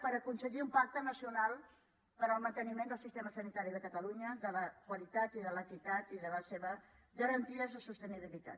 per aconseguir un pacte nacional per al manteniment del sistema sanitari de catalunya de la qualitat i de l’equitat i de la seva garantia de sostenibilitat